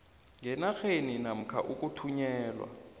ngenarheni namkha ukuthunyelwa